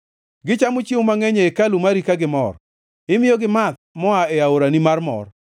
Gichamo chiemo mangʼeny e hekalu mari ka gimor; imiyogi math moa e aorani mar mor.